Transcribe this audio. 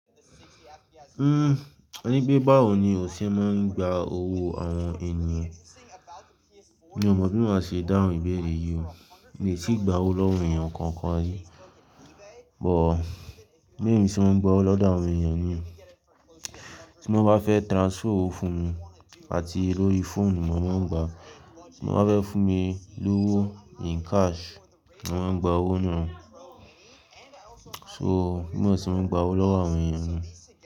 Uhm, ẹni pé báwo ni o ṣe máa ń gba owó àwọn ènìyàn? Mi ò mọ̀ bí mo máa ṣe dáhùn ìbéèrè yìí wo. Mi ò sí gba owó lọ́wọ́ ènìyàn kankan rí, but bémi ṣe ń gba owó lọ́dọ̀ àwọn ènìyàn ni. Ti wọ́n bá fẹ́ transfer owó fún mi àti lórí fóònù, mo máa ń gba. Wọ́n bá fẹ́ fún mi lówó in cash, mo máa ń gba owó náà. So, bí mo ń ṣe gba owó lọ́wọ́ àwọn ènìyàn ni.